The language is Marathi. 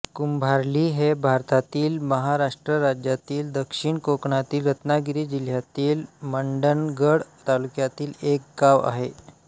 कुंभार्ली हे भारतातील महाराष्ट्र राज्यातील दक्षिण कोकणातील रत्नागिरी जिल्ह्यातील मंडणगड तालुक्यातील एक गाव आहे